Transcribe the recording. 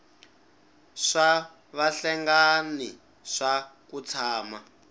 swa vahlengani swa ku tshama